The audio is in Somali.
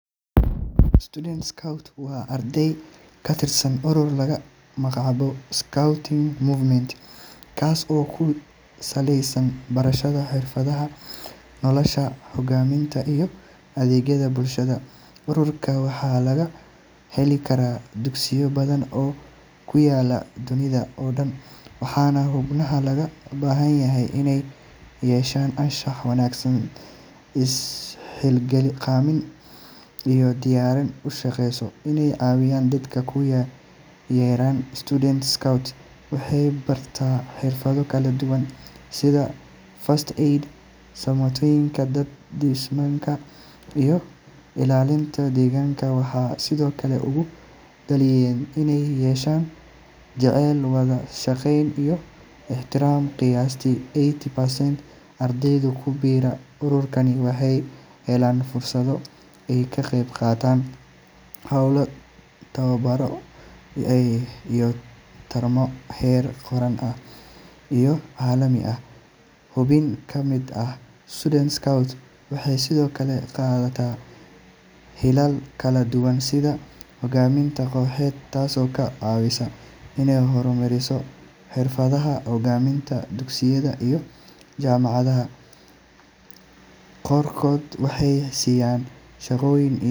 student court waa arday ka tirsan urur laga amba qaado scourting movament kaas oo ku saleysan barashada xiradaha iyo nolosha hogaaminta. ururkan waxaa laga hela dugsiyo badan oo ku yaalo daafaha caalamka . xubnaha ururkaan waxaa looga baahan yahay imey yeeshaaan anshax wanaagsan , is xilqaamin iyo diyaarin ushaqeyso dadka ay u shaqeeyaan. waxey bartaan xirfado kala duwan sida gargaarka dadka [first Aid] iyo ilaalinta degaanka waxaa sido kale lagu barbaariya iney yeeshaan ixtiraam wada shaqeyn . 80% ardayda ku bira ururkaan waxey helaan fursado ay ka qeyb qaataan sida tababaro iyo tartano heer qaran iyo kuwo caalami ah.xubnaha kamid ah waxey sido kale qaataan hogaaminta sidoo kale ka caawisa hogaaminta dugsityada iyo jaamacada . qaar ayaa sidaas ku hela shaqooyin kala duwan.